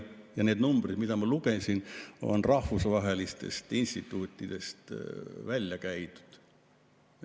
Ja need numbrid, mida ma ette lugesin, on rahvusvahelistest instituutidest välja käidud.